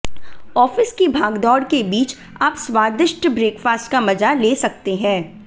office की भागदौड़ के बीच आप स्वादिष्ट ब्रेकफास्ट का मजा ले सकते हैं